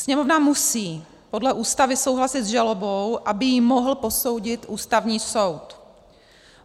Sněmovna musí podle Ústavy souhlasit s žalobou, aby ji mohl posoudit Ústavní soud.